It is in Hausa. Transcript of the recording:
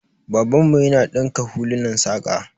Babanmu yana dinka hulunan saƙa.